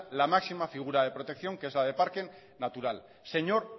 la máxima figura de protección que es la de parque natural señor